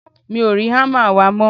mi ò rí hámà wa mọ́